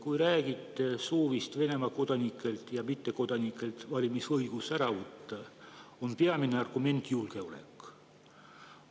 Kui räägite soovist Venemaa kodanikelt ja mittekodanikelt valimisõigus ära võtta, peamine argument on julgeolek.